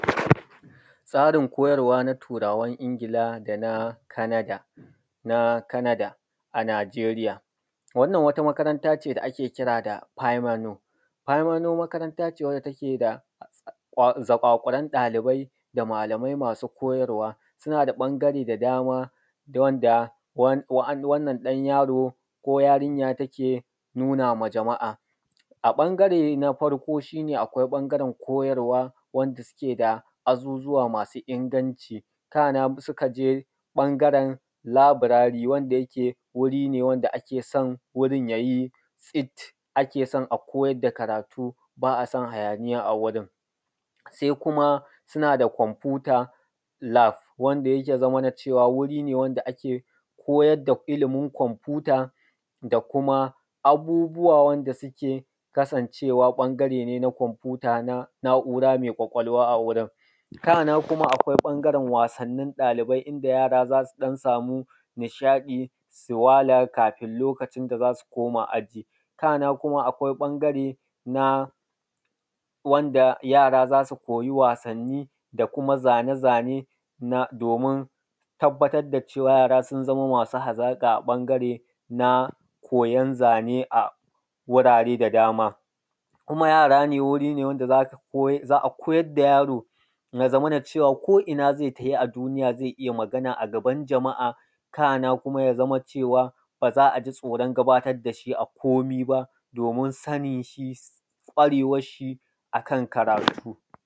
Tsarin koyarwa na Turawan Ingila da na Canada; na Canada a Najeriya. Wannan wata makaranta ce da ake kira da “Kwaimano”, “Kwaimano” makaranta ce wacce take da ƙwa; zaƙwaƙwuran ɗalibai da malamai masu koyarwa. Suna da ƃangare da dama d; wanda, wan; wa’an; wannan ɗan yaro ko yarinya take nuna ma jama’a. A ƃangare de na farko, shi ne akwai ƃangaren koyarwa wanda sike da azuzuwa masu inganci. Kana m; sika je ƃangaren labirari wanda yake wuri ne wanda akfe san wurin ya yi tsit, ake son a koyad da karatu, ba a san hayaniya a wurin. Se kuma, sina da “computer Lab” wanda yake zamana cewa wuri ne wan da ake koyar da ilimin kwamfuta da kuma abubuwa wanda sike kasancewa ƃangare ne na kwamfuta na na’ura me ƙwaƙwalwa a wurin. Kana kuma, akwai ƃangaren wasannin ɗalibai inda yara za su ɗan samu nishaɗi, su wala kafin lokacin da za su koma aji. Kana kuma, akwai ƃangare na wanda yara za su koyi wasanni da kuma zane-zane na; domin tabbatad da cewa yara sun zama masu hazaƙa a ƃangare na koyan zane a wurare da dama. Kuma yara ne, wuri ne wanda za ka koya; za a koyar da yaro, na zamana cewa ko’ina ze tafi a duniya ze iya magana a gaban jama’a. Kana kuma ya zama cewa, ba za a ji tsoron gabatad da shi a komi ba, domin sanin shi, ƙwarewas shi a kan karatu.